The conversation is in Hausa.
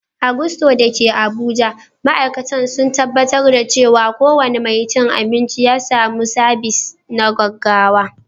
A Gusto da ke Abuja, ma’aikatan sun tabbatar da cewa kowane mai cin abinci ya samu sabis na gaggawa.